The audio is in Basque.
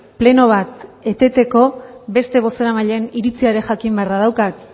pleno bat eteteko beste bozeramaileen iritzia ere jakin beharra daukat